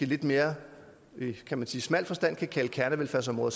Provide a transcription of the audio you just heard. lidt mere smal forstand kan kalde kernevelfærdsområder